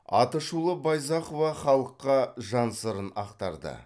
атышулы байзақова халыққа жан сырын ақтарды